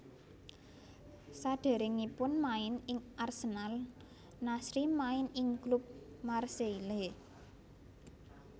Saderengipun main ing Arsenal Nasri main ing klub Marseille